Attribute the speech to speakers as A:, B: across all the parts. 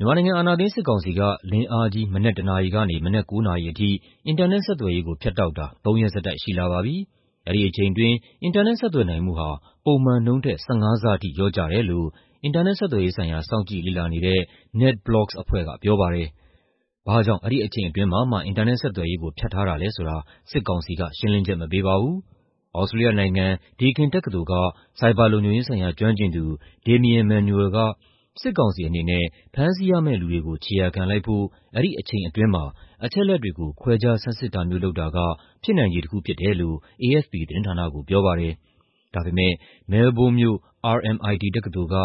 A: မြန်မာနိုင်ငံ အာဏာသိမ်း စစ်ကောင်စီက လင်းအားကြီး မနက် ၁ နာရီကနေ မနက် ၉ နာရီအထိ အင်တာနက် ဆက်သွယ်ရေးကို ဖြတ်တောက်တာ ၃ ရက်ဆက်တိုက်ရှိလာပါပြီ။ အဲဒီအချိန်အတွင်း အင်တာနက်ဆက်သွယ်နိုင်မှုဟာ ပုံမှန်နှုန်းထက် ၁၅ ဆထိ လျော့ကျတယ်လို့ အင်တာနက်ဆက်သွယ်ရေးဆိုင်ရာ စောင့်ကြည့်လေ့လာနေတဲ့ NetBlocsk အဖွဲ့က ပြောပါတယ်။ ဘာ့ကြောင့် အဲဒီအချိန်အတွင်းမှာမှ အင်တာနက်ဆက်သွယ်ရေးကို ဖြတ်ထားတာလည်းဆိုတာ စစ်ကောင်စီက ရှင်းလင်းချက်မပေးပါဘူး။ သြစတြေးလျနိုင်ငံ၊ Deakin တက္ကသိုလ်က ဆိုင်ဘာလုံခြုံရေးဆိုင်ရာ ကျွမ်းကျင်သူ Damien Manuel က စစ်ကောင်စီအနေနဲ့ ဖမ်းဆီးရမယ့်လူတွေကို ခြေရာခံလိုက်ဖို့ အဲဒီအချိန်အတွင်းမှာ အချက်အလက်တွေကို ခွဲခြားဆန်းစစ်တာမျိုးလုပ်တာက ဖြစ်နိုင်ခြေတစ်ခုဖြစ်တယ်လို့ AFP သတင်းဌာနကို ပြောပါတယ်။ ဒါပေမဲ့ မဲလ်ဘုန်းမြို့၊ RMIT တက္ကသိုလ်က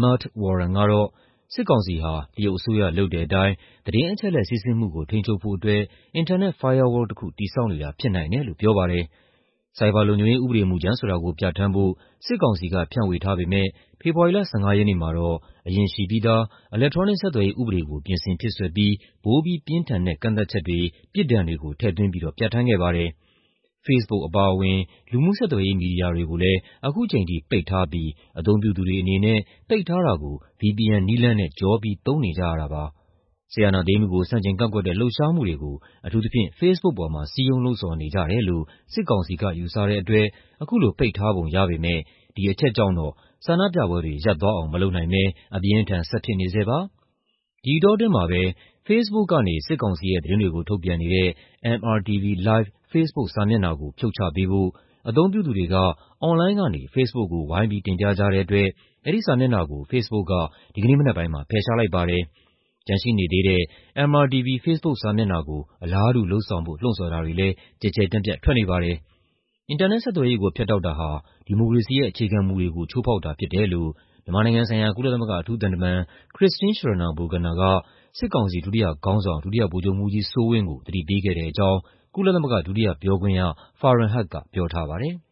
A: Matt Warren ကတော့ စစ်ကောင်စီဟာ တရုတ်အစိုးရ လုပ်တဲ့အတိုင်း သတင်းအချက်အလက် စီးဆင်းမှုကို ထိန်းချုပ်ဖို့အတွက် အင်တာနက် firewall တစ်ခု တည်ဆောက်နေတာ ဖြစ်နိုင်တယ်လို့ ပြောပါတယ်။ ဆိုင်ဘာလုံခြုံရေး ဥပဒေမူကြမ်းဆိုတာကို ပြဌာန်းဖို့ စစ်ကောင်စီက ဖြန့်ဝေထားပေမဲ့ ဖေဖော်ဝါရီလ ၁၅ ရက်နေ့မှာတော့ အရင်ရှိပြီးသား အီလက်ထရောနစ်ဆက်သွယ်ရေးဥပဒေကို ပြင်ဆင်ဖြည့်စွက်ပြီး ပိုပြီးပြင်းထန်တဲ့ ကန့်သတ်ချက်တွေ၊ ပြစ်ဒဏ်တွေကို ထည့်သွင်းပြီးတော့ ပြဌာန်းခဲ့ပါတယ်။ Facebook အပါအဝင် လူမှုဆက်သွယ်ရေး မီဒီယာတွေကိုလည်း ခုချိန်ထိပိတ်ထားပြီး အသုံးပြုသူတွေအနေနဲ့ ပိတ်ထားတာကို VPN နည်းလမ်းနဲ့ ကျော်ပြီး သုံးနေကြရတာပါ။ စစ်အာဏာသိမ်းမှုကို ဆန့်ကျင်ကန့်ကွက်တဲ့ လှုပ်ရှားမှုတွေကို အထူးသဖြင့် Facebook ပေါ်မှာ စည်းရုံးလှုံ့ဆော်နေကြတယ်လို့ စစ်ကောင်စီက ယူဆတဲ့အတွက် အခုလိုပိတ်ထားပုံရပေမဲ့ ဒီအချက်ကြောင့်တော့ ဆန္ဒပြပွဲတွေရပ်သွားအောင် မလုပ်နိုင်ဘဲ အပြင်းအထန် ဆက်ဖြစ်နေဆဲပါ။ ဒီအတောအတွင်းမှာပဲ ဖေ့စ်ဘုတ်ကနေ စစ်ကောင်စီရဲ့ သတင်းတွေကို ထုတ်ပြန်နေတဲ့ MRTV Live ဖေ့စ်ဘုတ်စာမျက်နှာကို ဖြုတ်ချပေးဖို့ အသုံးပြုသူတွေက အွန်လိုင်းကနေ Facebook ကို ဝိုင်းပြီး တင်ပြကြတဲ့အတွက် အဲဒီစာမျက်နှာကို Facebook က ဒီကနေ့မနက်ပိုင်းမှာ ဖယ်ရှားလိုက်ပါတယ်။ ကျန်ရှိနေတဲ့ MRTV ဖေ့စ်ဘုတ်စာမျက်နှာကို အလားတူလုပ်ဆောင်ဖို့ လှုှုံ့ဆော်တာတွေလည်း ကျယ်ကျယ်ပြန့်ပြန့် ထွက်နေပါတယ်။ အင်တာနက်ဆက်သွယ်ရေးကို ဖြတ်တောက်တာဟာ ဒီမိုကရေစီရဲ့ အခြေခံမူတွေကို ချိုးဖောက်တာဖြစ်တယ်လို့ မြန်မာနိုင်ငံဆိုင်ရာ ကုလသမဂ္ဂအထူးသံတမန် Christine Schraner Burgener က စစ်ကောင်စီ ဒုတိယခေါင်းဆောင် ဒုတိယဗိုလ်ချုပ်မှူးကြီးစိုးဝင်းကို သတိပေးခဲ့တဲ့အကြောင်း ကုလသမဂ္ဂ ဒုတိယပြောခွင့်ရ Frahan Haq က ပြောထားပါတယ်။